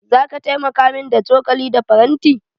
Zaka taimaka min da cokali da faranti?